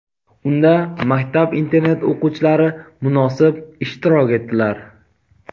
Unda maktab-internat o‘quvchilari munosib ishtirok etdilar.